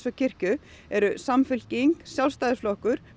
og kirkju eru Sjálfstæðisflokkurinn